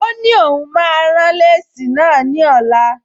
Ó ní òun máa rán léèsì náà ní ọ̀la